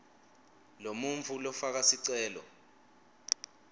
lomuntfu lofaka sicelo